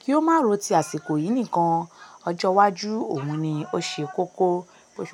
kí ó má ro ti àsìkò yìí nìkan. Ọjọ́ iwájú òun ni ó ṣe kókó.